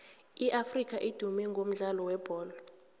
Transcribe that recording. iafrika idume ngomdlalo webholo